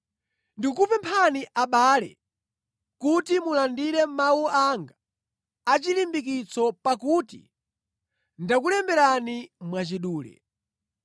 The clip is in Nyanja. Ndikukupemphani abale kuti mulandire mawu anga achilimbikitso, pakuti ndakulemberani mwachidule.